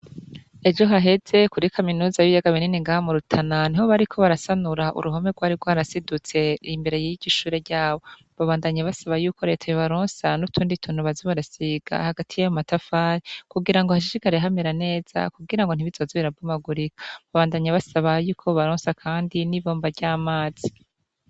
Ejo haheze kuri kaminuza y'ibiyaga binini ngaha mu Rutana niho bariko barasanura uruhome gwari rwarasidutse imbere yiryo shure ryabo, ba bandanya basaba yuko reta yobaronsa n'utundi tuntu baza barasiga hagati yayo matafari kugira ngo hashishikare hamera neza kugira ntibizoze birabomagurika, babandanya basaba ko bobaronsa kandi n'ibomba ry'amazi.